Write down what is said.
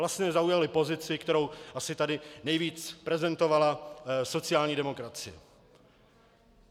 Vlastně zaujali pozici, kterou tady asi nejvíc prezentovala sociální demokracie.